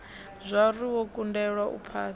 zwauri wo kundelwa u phasa